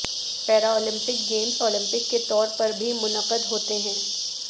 Paralympic games Olympic کے طور پر بھی منعقد ہوتے ہیں